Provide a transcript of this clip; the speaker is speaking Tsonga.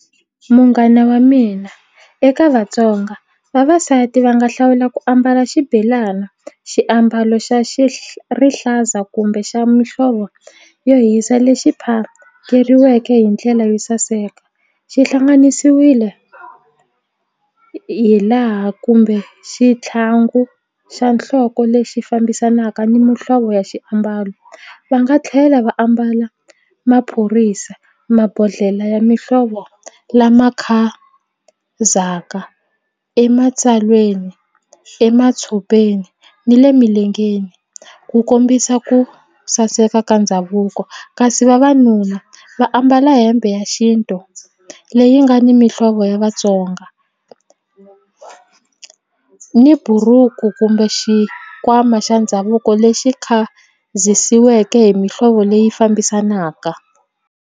Munghana wa mina eka Vatsonga vavasati va nga hlawula ku ambala xibelana xiambalo xa rihlaza kumbe xa muhlovo yo hisa lexi phakeriweke hi ndlela yo saseka xi hlanganisiwile hi laha kumbe xitlhangu xa nhloko lexi fambisanaka ni muhlovo ya xiambalo va nga tlhela va ambala maphorisa mabodhlele ya muhlovo lama khazaka ematsalweni ematshopeni ni le milengeni ku kombisa ku saseka ka ndhavuko kasi vavanuna va ambala hembe ya xintu leyi nga ni mihlovo ya Vatsonga ni buruku kumbe xikwama xa ndhavuko lexi khazisiweke hi mihlovo leyi fambisanaka.